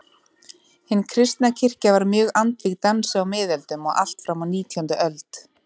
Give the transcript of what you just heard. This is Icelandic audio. Hin kristna kirkja var mjög andvíg dansi á miðöldum og allt fram á nítjándu öld.